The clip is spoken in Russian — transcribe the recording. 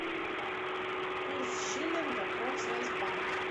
курс шиллинга промсвязьбанк